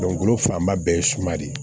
Dugukolo fanba bɛɛ ye suma de ye